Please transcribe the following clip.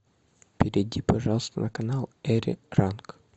перейди пожалуйста на канал эри ранг